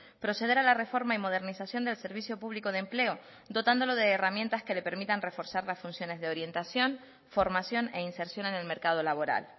proceder a la reforma y modernización del servicio público de empleo dotándolo de herramientas que le permitan reforzar las funciones de orientación formación e inserción en el mercado laboral